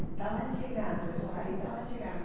Estavam chegando, esses aí estavam chegando.